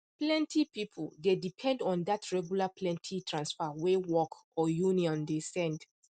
plenty people dey depend on that regular plenty transfer wey work or union dey send